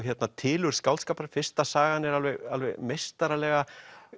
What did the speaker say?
tilurð skáldskapar fyrsta sagan er meistaraleg